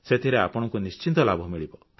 ସେଥିରେ ଆପଣଙ୍କୁ ନିଶ୍ଚିତ ଲାଭ ମିଳିବ